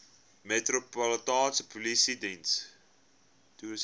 metropolitaanse polisie diens